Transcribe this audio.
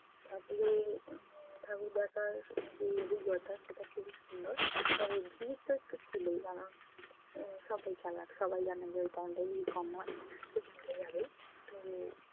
ঠাকরের উম ঠাকুর দেখার যে অভিজ্ঞতা সেটা খুবই সুন্দর। তবে ভিড় তো একটু ছিলই মনা উম সবাই চালাক। সবাই জানে যে ওই time টায় ভিড় কম হয়। এই time টাই আগে তো